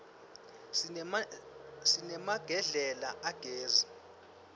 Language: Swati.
sinemagedlela agezi